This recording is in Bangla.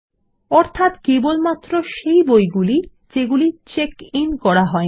অর্থাত কেবলমাত্র সেই বইগুলি যেগুলি চেক ইন করা হয়নি